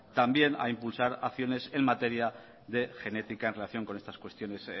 también a impulsar acciones en materia de genética en relación con estas cuestiones